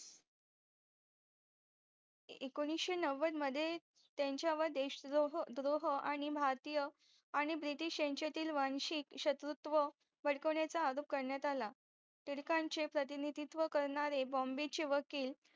एकोणीशे नौवद मध्ये त्यांचा व देश द्रोह आणि भारतीय आणि BRITISH यांच्यातील वांशिक शत्रुत्व भडकवण्याचा आरोप करण्यात आला टिळकांचे प्रतिनिधित्व करणारे बॉंबेचे वकील